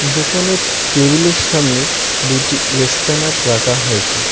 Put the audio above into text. দোকানের টেবিলের সামনে দুইটি এসকানার রাখা হয়েছে।